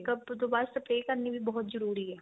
makeup ਤੋਂ ਬਾਅਦ spray ਕਰਨੀ ਵੀ ਬਹੁਤ ਜਰੂਰੀ ਏ